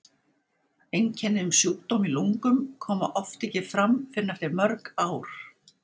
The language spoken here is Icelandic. Einkenni um sjúkdóm í lungum koma oft ekki fram fyrr en eftir mörg ár.